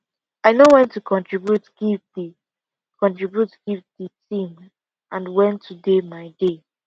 i know when to contribute give the contribute give the team and when to dey my dey